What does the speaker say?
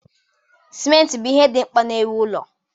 Simenti bụ ihe dị mkpa na-ewu ụlọ